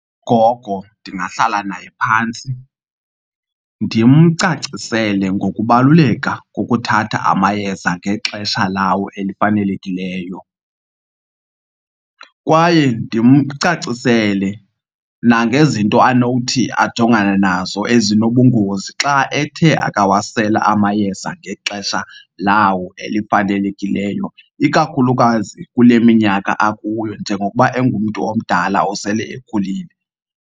Ugogo ndingahlala naye phantsi ndimcacisele ngokubaluleka kokuthatha amayeza ngexesha lawo elifanelekileyo. Kwaye ndimcacisele nangezinto anothi ajongane nazo ezinobungozi xa ethe akawasela amayeza ngexesha lawo elifanelekileyo, ikakhulukazi kule minyaka akuyo njengokuba engumntu omdala osele ekhulile.